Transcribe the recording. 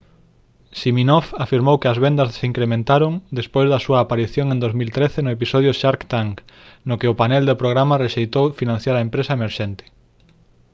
siminoff afirmou que as vendas se incrementaron despois da súa aparición en 2013 no episodio shark tank no que o panel do programa rexeitou financiar a empresa emerxente